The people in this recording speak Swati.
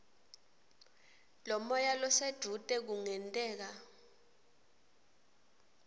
lomoya losedvute kungenteka